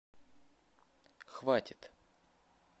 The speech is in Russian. хватит